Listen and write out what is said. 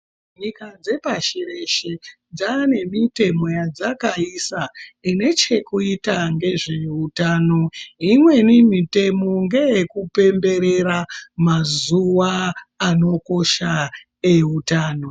Nyika dzepashi reshe dzane mitemo yadzakaisa ine chekuita ngezveutano imweni mitemo ngeyekupemberera mazuwa anokosha eutano.